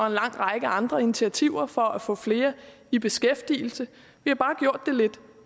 en lang række andre initiativer for at få flere i beskæftigelse vi har bare gjort det lidt